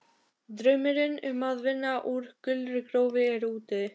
Draumurinn um að vinna á gulri gröfu er úti.